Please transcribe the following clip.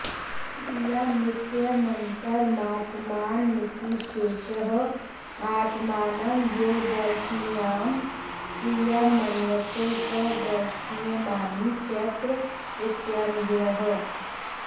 स्त्रियामित्यनन्तरमात्मानमिति शेषः आत्मानं यो दर्शनीयां स्त्रियं मन्यते स दर्शनीयमानी चैत्र इत्यन्वयः